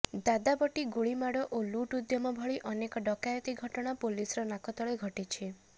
ଦାଦାବଟି ଗୁଳିମାଡ ଓ ଲୁଟ ଉଦ୍ୟମ ଭଳି ଅନେକ ଡକାୟତି ଘଟଣା ପୋଲିସର ନାକତଳେ ଘଟିଛି